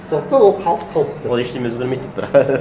сондықтан ол қалыс қалып тұр ол ештеңе өзгермейді бірақ